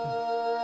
Əddab!